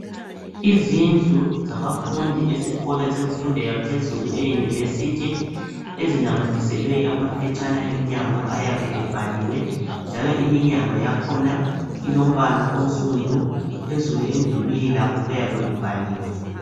Izindlu sabafundi esikolo yemfundo yaphezulu eyunivesithi. Ezinamathiselwe amaphetshana emnyango ayabe ebhaliwe. Njalo iminyango yakhona ilombala onsundu phezulu kwakhona kuyabe kubhaliwe.